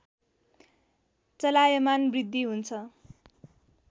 चलायमान वृद्धि हुन्छ